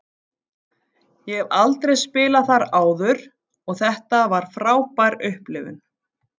Ég hef aldrei spilað þar áður og þetta var frábær upplifun.